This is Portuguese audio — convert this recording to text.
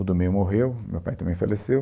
O do meio morreu, meu pai também faleceu.